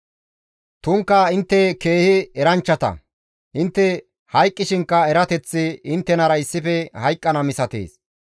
«Tumukka intte keehi eranchchata; intte hayqqishinkka erateththi inttenara issife hayqqana misatees.